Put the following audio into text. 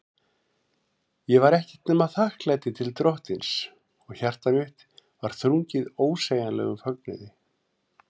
Ég var ekkert nema þakklæti til Drottins, og hjarta mitt var þrungið ósegjanlegum fögnuði.